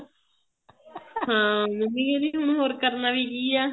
ਹਾਂ ਮੰਮੀ ਕਹਿੰਦੀ ਹੋਰ ਕਰਨਾ ਵੀ ਕੀ ਆ